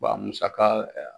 a musaka